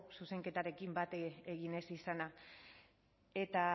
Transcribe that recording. zuzenketarekin bat egin ez izana eta